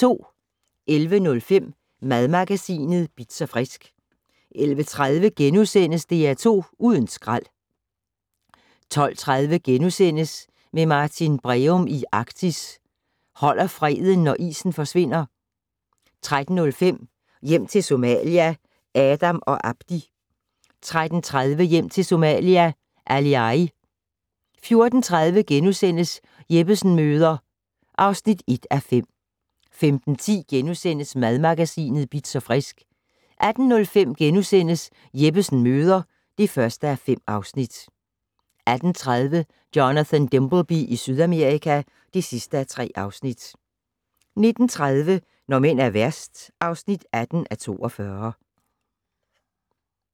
11:05: Madmagasinet Bitz & Frisk 11:30: DR2 Uden skrald * 12:30: Med Martin Breum i Arktis: Holder freden, når isen forsvinder? * 13:05: Hjem til Somalia - Adam og Abdi 13:30: Hjem til Somalia - Aliay 14:30: Jeppesen møder (1:5)* 15:10: Madmagasinet Bitz & Frisk * 18:05: Jeppesen møder (1:5)* 18:30: Jonathan Dimbleby i Sydamerika (3:3) 19:30: Når mænd er værst (18:42)